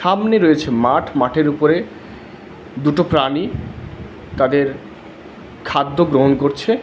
সামনে রয়েছে মাঠ মাঠের উপরে দুটো প্রাণী তাদের খাদ্য গ্রহণ করছে।